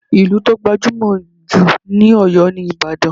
Ìlú tó gbajúmọ̀ jù ní Oyo ni Ìbàdàn.